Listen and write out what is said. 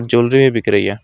Jewellery भी बिक रही है।